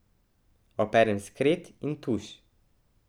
Operem skret in tuš.